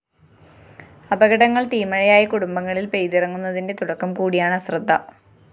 അപകടങ്ങള്‍ തീമഴയായി കുടുംബങ്ങളില്‍ പെയ്തിറങ്ങുന്നതിന്റെ തുടക്കം കൂടിയാണ് അശ്രദ്ധ